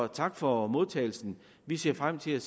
tak for modtagelsen vi ser frem til at